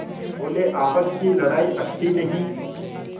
बोलेआपस की लड़ाई अच्छी नहीं